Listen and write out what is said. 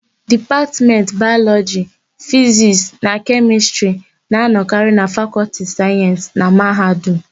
Dipatmentị Bayọlọjị, Fizisti na Kemịstịrị na-anọkarị na Fakọlti Sayensị na mahadum.